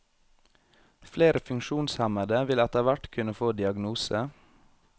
Flere funksjonshemmede vil etterhvert kunne få diagnose.